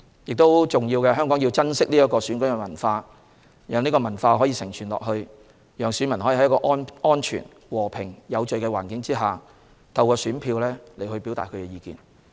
最重要的是，香港必須珍惜這種選舉文化，讓這種文化得以承傳，讓選民可以在安全、和平、有序的環境下，透過選票表達意見。